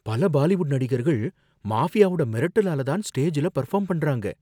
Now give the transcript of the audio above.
பல பாலிவுட் நடிகர்கள் மாஃபியாவோட மிரட்டலால தான் ஸ்டேஜ்ல பர்ஃபார்ம் பண்ணுறாங்க